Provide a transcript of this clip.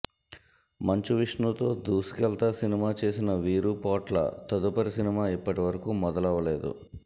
మంచు విష్ణుతో దూసుకేళ్తా సినిమా చేసిన వీరుపోట్ల తదుపరి సినిమా ఇప్పటి వరకు మొదలవలేదు